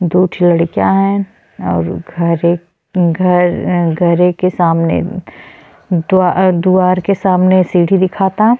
दुठो लड़का हन और घर है घर घरे के सामने दुआ दुवार के सामने सीढ़ी दिखाता --